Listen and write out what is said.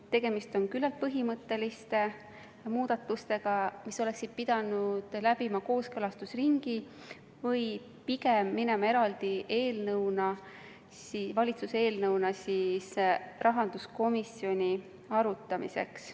Tegemist on küllalt põhimõtteliste muudatustega, mis oleksid pidanud läbima kooskõlastusringi või pigem pandama eraldi eelnõusse, mille valitsus esitanuks rahanduskomisjonile arutamiseks.